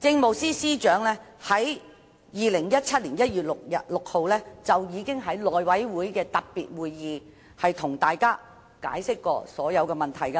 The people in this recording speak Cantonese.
政務司司長在2017年1月6日已經在內務委員會的特別會議上，向大家清楚解釋所有問題。